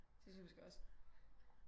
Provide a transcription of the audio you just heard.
Det synes jeg måske også